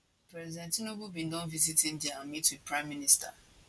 president tinubu bin don visit india and meet wit pm